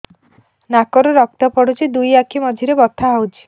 ନାକରୁ ରକ୍ତ ପଡୁଛି ଦୁଇ ଆଖି ମଝିରେ ବଥା ହଉଚି